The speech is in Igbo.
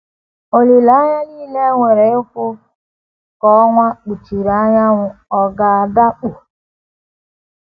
Olileanya nile e nwere ịhụ ka ọnwa kpuchiri anyanwụ ọ̀ um ga um - adakpọ? um